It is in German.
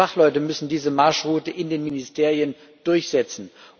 EU Fachleute müssen diese Marschroute in den Ministerien durchsetzen.